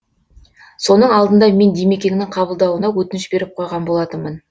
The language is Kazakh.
соның алдында мен димекеңнің қабылдауына өтініш беріп қойған болатынмын